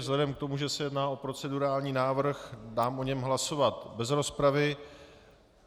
Vzhledem k tomu, že se jedná o procedurální návrh, dám o něm hlasovat bez rozpravy.